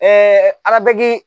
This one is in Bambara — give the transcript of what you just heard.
arabki